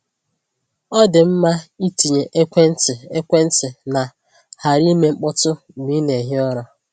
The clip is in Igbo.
Ọ dị mma ịtinye ekwentị ekwentị na ‘ghara ime mkpọtụ’ mgbe ị na-ehi ụra.